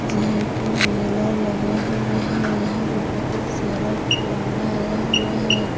यहां पे मेला लगा हुआ है यहां में बहुत सारा खिलौना आया हुआ है।